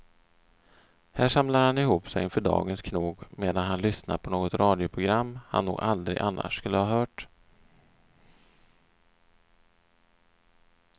Här samlar han ihop sig inför dagens knog medan han lyssnar på något radioprogram han nog aldrig annars skulle ha hört.